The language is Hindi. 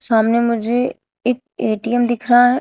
सामने मुझे एक ए_टी_एम दिख रहा है।